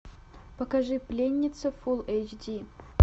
покажи пленница фулл эйч ди